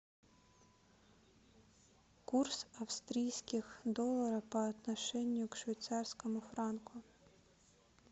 курс австрийских долларов по отношению к швейцарскому франку